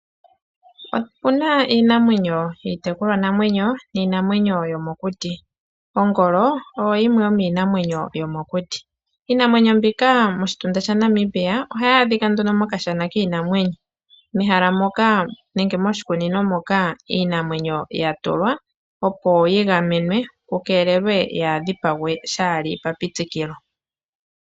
Opuna iinamwenyo iitekulwa namwenyo, niinamwenyo yo mokuti. Ongolo oyo yimwe yo miinamwenyo yo mokuti. Iinamwenyo mbika moshitunda shaNamibia ohayi adhika nduno mokashana kiinamwenyo. Mehala moka nenge moshikunino moka iinamwenyo ya tulwa opo yi gamenwe ku keelelwe yaadgipagwe shaali pa pitikilo.